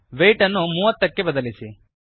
ವೇಯ್ಟನ್ನು ೩೦ಮೂವತ್ತಕ್ಕೆ ಬದಲಿಸಿ